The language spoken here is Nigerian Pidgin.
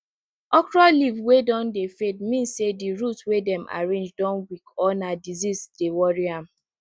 okro leave wey don dey fade mean say di root wey dem arrange don weak or na disease dey worry am